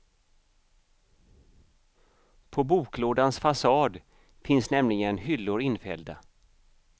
På boklådans fasad finns nämligen hyllor infällda.